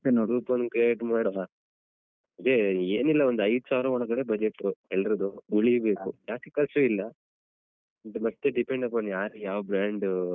Group ಒಂದ್ create ಮಾಡುವ ಅದೇ ಏನಿಲ್ಲ ಒಂದ್ ಐದು ಸಾವಿರ ಒಳಗಡೆ budget ಎಲ್ಲರದ್ದು ಉಳಿಬೇಕು ಜಾಸ್ತಿ ಖರ್ಚು ಇಲ್ಲ ಅದು ಮತ್ತೆ depend ಯಾರ್ ಯಾವ brand ಅಹ್.